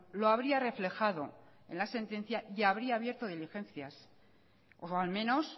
lo habría reflejado en la sentencia y habría abierto diligencias o al menos